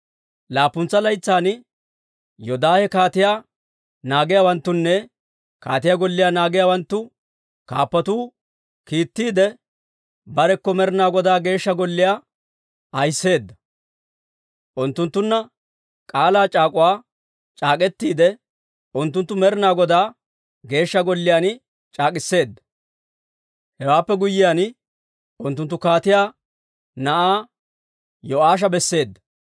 Laappuntsa laytsan Yoodaahe kaatiyaa naagiyaawanttunne kaatiyaa golliyaa naagiyaawanttu kaappatoo kiittiide, barekko Med'ina Godaa Geeshsha Golliyaa ahiseedda. Unttunttunna k'aalaa c'aak'uwaa c'aak'k'etiide, unttunttu Med'ina Godaa Geeshsha Golliyaan c'aak'k'iseedda. Hewaappe guyyiyaan, unttunttu kaatiyaa na'aa Yo'aasha besseedda.